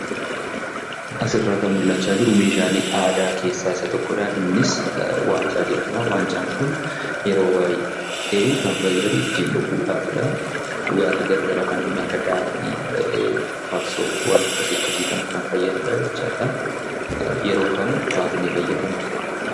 Asirraa kan mul'achaa jiru meeshaalee aadaa keessaa isa tokkodha. Innis waancaa jedhama. Waancaan kun yeroo baay'ee kan fayyadu ittiin dhuguudhaafidhaa. Dhugaatii garaa garaa kanneen akka daadhii ,farsoo waan akkasi akkasii kana kan fayyadudha jechaadha. Yeroo kam baasnee fayyadamna?